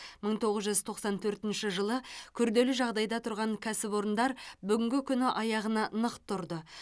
мың тоғыз жүз тоқсан төртінші жылы күрделі жағдайда тұрған кәсіпорындар бүгінгі күні аяғына нық тұрды